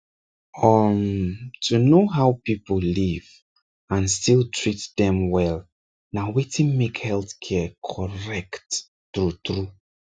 um to know how people live and still treat dem well na wetin make healthcare correct true true